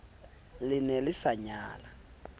le ne le sa nyala